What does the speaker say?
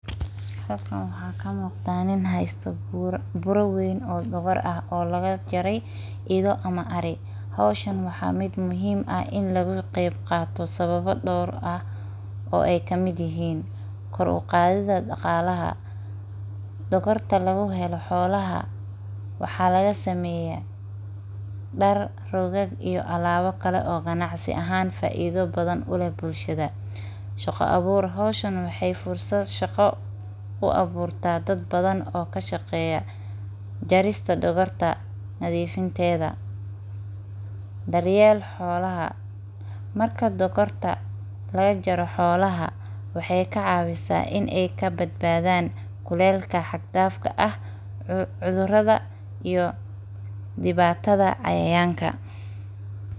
Nin aad u dheer oo labiskiisu ka samaysan yahay maro cad oo nadiif ah ayaa taagnaa meel dhexe ah suuqa weyn ee magaalada, isagoo si xirfad leh u hayey xadhkaha tayo la’aanta ah ee ka samaysan, kaas oo uu u qaaday sida uu ugu qalbi fiican yahay in uu ilaaliyo qaabka naxariis leh ee uu u hayo, mar walba oo ay weydiisto qof ka mid ah dadka soo dhaweeyay suuqa ayaa uu si cad uga jawaabay in uu ku faraxsan yahay in uu muujiyo sida ay u qurux badan tahay tayada la’aanta ah ee ay leedahay.